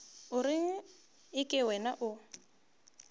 o reng eke wena o